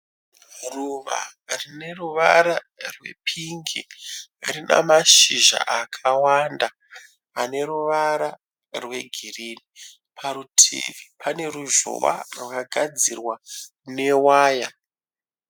Ruva rine ruvara rwe pingi. Rina mashizha akawanda ane ruvara rwe girinhi. Parutivi pane ruzhowa rwakagadzirwa ne waya.